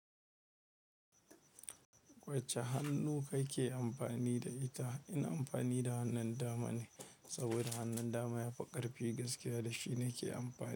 Wacce hannu kake amfani da ita? Ina amfani da hannun dama ne, saboda hannun dama yafi karfi gaskiya da shi nake amfani.